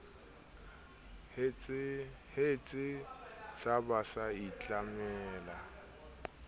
hetse sa ba sa itlamela